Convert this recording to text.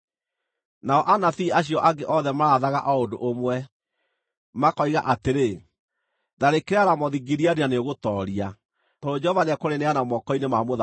Nao anabii acio angĩ othe maarathaga o ũndũ ũmwe, makoiga atĩrĩ, “Tharĩkĩra Ramothu-Gileadi na nĩũgũtooria, tondũ Jehova nĩekũrĩneana moko-inĩ ma mũthamaki.”